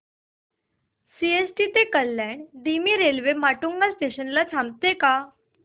CST ते कल्याण धीमी railway Matunga station ला थांबते का